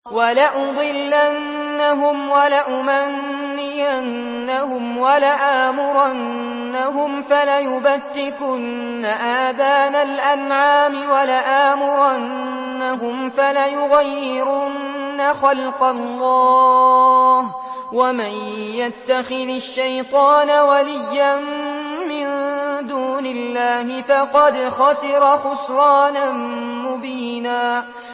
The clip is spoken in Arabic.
وَلَأُضِلَّنَّهُمْ وَلَأُمَنِّيَنَّهُمْ وَلَآمُرَنَّهُمْ فَلَيُبَتِّكُنَّ آذَانَ الْأَنْعَامِ وَلَآمُرَنَّهُمْ فَلَيُغَيِّرُنَّ خَلْقَ اللَّهِ ۚ وَمَن يَتَّخِذِ الشَّيْطَانَ وَلِيًّا مِّن دُونِ اللَّهِ فَقَدْ خَسِرَ خُسْرَانًا مُّبِينًا